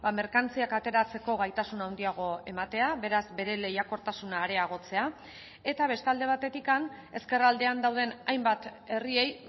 merkantziak ateratzeko gaitasun handiago ematea beraz bere lehiakortasuna areagotzea eta beste alde batetik ezkerraldean dauden hainbat herriei